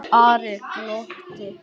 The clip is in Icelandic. Ari glotti.